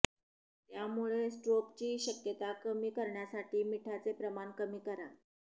त्यामुळे स्ट्रोकची शक्यता कमी करण्यासाठी मिठाचे प्रमाण कमी करा